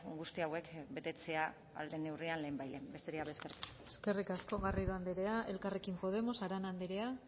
guzti hauek betetzea ahal den neurrian lehenbailehen besterik gabe eskerrik asko eskerrik asko garrido andrea elkarrekin podemos arana andrea